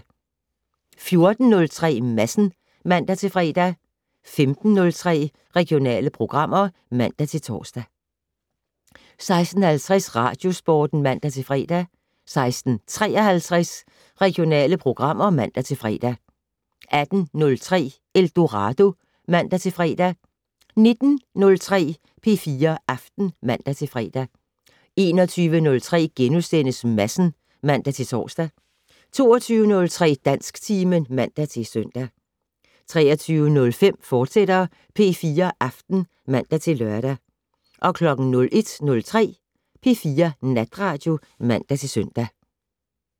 14:03: Madsen (man-fre) 15:03: Regionale programmer (man-tor) 16:50: Radiosporten (man-fre) 16:53: Regionale programmer (man-fre) 18:03: Eldorado (man-fre) 19:03: P4 Aften (man-fre) 21:03: Madsen *(man-tor) 22:03: Dansktimen (man-søn) 23:05: P4 Aften, fortsat (man-lør) 01:03: P4 Natradio (man-søn)